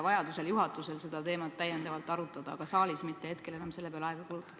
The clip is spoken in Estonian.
Vajadusel võib juhatus seda teemat täiendavalt arutada, aga saalis ei maksaks selle peale praegu aega kulutada.